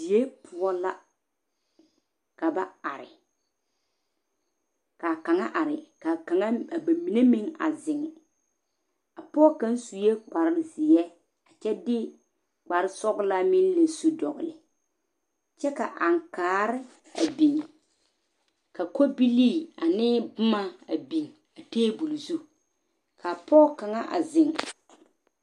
die poɔ la ka ba are ka ka kanga are ka kanga a ba mine a zeng a pɔg kang sue kpare zeɛ a kyɛ de kpare sɔglaa meng la su dɔgle kyɛ ka ankaare a bin ka kobilii ane boma a bin a tabole zu ka pɔg kanga a zeng